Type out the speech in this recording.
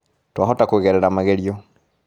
Twahota kũgerera magerio